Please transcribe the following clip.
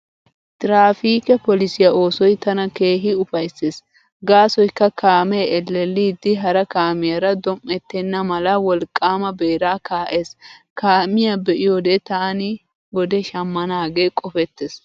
Tiraafiike polisiyaa oosoy tana keehi ufayssees gaasoykka kaamee ellelliiddi hara kaamiyaara dom"ettenna mala wolqqaama beeraa kaa'ees. Kaamiyaa be'iyoode taani wode shamnanaagee qopettees.